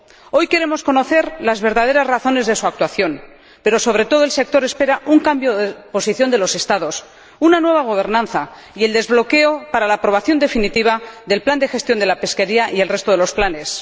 Hoy queremos conocer las verdaderas razones de su actuación, pero, sobre todo, el sector espera un cambio de posición de los Estados, una nueva gobernanza y el desbloqueo para la aprobación definitiva del plan de gestión de la pesca y el resto de los planes.